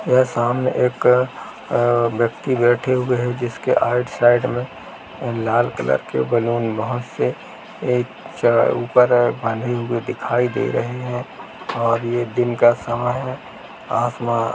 और सामने एक अ- व्यक्ति बैठे हुए है जिसके सामने राइट साइड में लाल कलर के बैलून बहुत से ऊपर की ओर बंधे हुए दिखाई दे रहे हैं और ये दिन का समय है आसमा--